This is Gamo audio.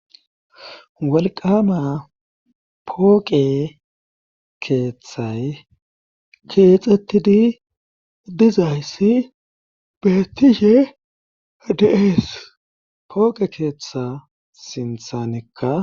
wolqama pooqe keeththay keexettidi dizayssi bettishe de7ees pooqe keeththa sinthanekka